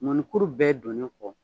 Mɔnikuru bɛɛ donnen kɔ.